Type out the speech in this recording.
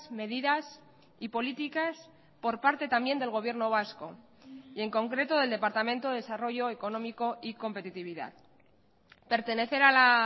medidas y políticas por parte también del gobierno vasco y en concreto del departamento de desarrollo económico y competitividad pertenecer a la